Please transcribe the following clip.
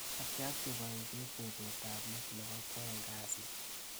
Atyakti boishet betutab let nebo kwaeng kasit.